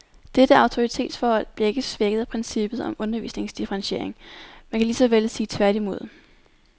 Dette autoritetsforhold bliver ikke svækket af princippet om undervisningsdifferentiering, man kan lige så vel sige tværtimod.